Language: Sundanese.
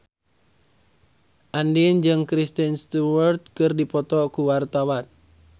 Andien jeung Kristen Stewart keur dipoto ku wartawan